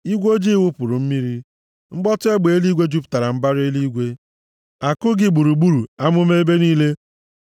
Igwe ojii wụpụrụ mmiri, mkpọtụ egbe eluigwe jupụtara mbara eluigwe; àkụ gị gburu amụma ebe niile.